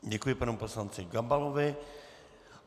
Děkuji panu poslanci Gabalovi.